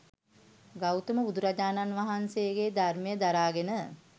ගෞතම බුදුරජාණන් වහන්සේගේ ධර්මය දරාගෙන